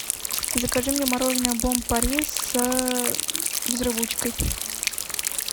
закажи мне мороженое бон пари с взрывучкой